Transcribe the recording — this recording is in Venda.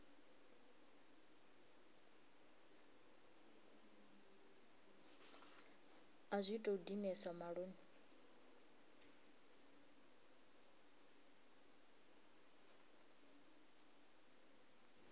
a zwi tou dinesa maṱoni